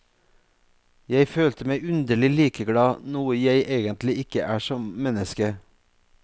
Jeg følte meg underlig likeglad, noe jeg egentlig ikke er som menneske.